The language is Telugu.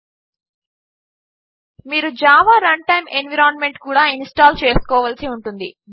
httpwwwlibreofficeorgget helpsystem requirements మీరు జావా రన్టైమ్ ఎన్వైరన్మెంట్ కూడా ఇన్స్టాల్ చేసుకోవలసి ఉంటుంది